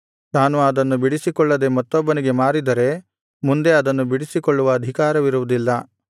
ತಾನು ಅದನ್ನು ಬಿಡಿಸಿಕೊಳ್ಳದೆ ಮತ್ತೊಬ್ಬನಿಗೆ ಮಾರಿದರೆ ಮುಂದೆ ಅದನ್ನು ಬಿಡಿಸಿಕೊಳ್ಳುವ ಅಧಿಕಾರವಿರುವುದಿಲ್ಲ